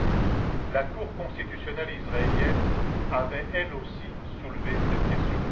du reste, la cour constitutionnelle israélienne avait, elle aussi, soulevé cette question.